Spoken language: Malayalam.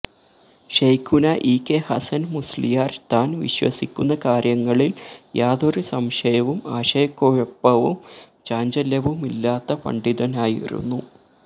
ശൈഖുനാ ഇ കെ ഹസന് മുസ്ലിയാര് താന് വിശ്വസിക്കുന്ന കാര്യങ്ങളില് യാതൊരു സംശയവും ആശയക്കുഴപ്പവും ചാഞ്ചല്യവുമില്ലാത്ത പണ്ഡിതനായിരുന്നു